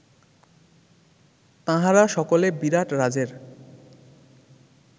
তাঁহারা সকলে বিরাটরাজের